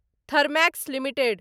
Thermax limited